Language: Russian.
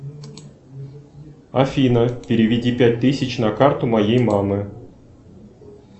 афина переведи пять тысяч на карту моей мамы